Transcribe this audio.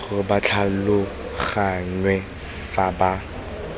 gore ba tlhaloganngwe fa ba